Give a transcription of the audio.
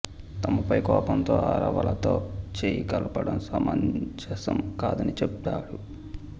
తమపై కోపంతో అరవలతో చేయి కలపడం సమంజసం కాదని చెప్పాడు